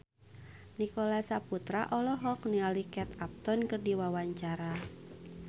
Nicholas Saputra olohok ningali Kate Upton keur diwawancara